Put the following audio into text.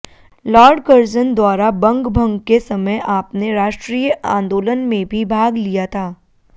Lord Curzon द्वारा बंग भंग के समय आपने राष्ट्रीय आंदोलन में भी भाग लिया था